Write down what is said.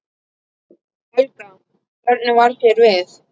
Helga: Hvernig varð þér við?